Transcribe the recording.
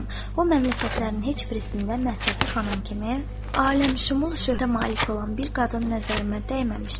O məmləkətlərin heç birisində Məsəti xanım kimi aləmşümul şöhrətə malik olan bir qadın nəzərimə dəyməmişdir.